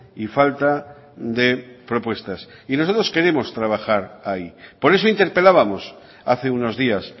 y falta de propuestas y nosotros queremos trabajar ahí por eso interpelábamos hace unos días